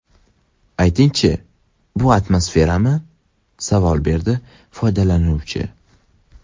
Aytingchi, bu afsonami?” savol berdi foydalanuvchi.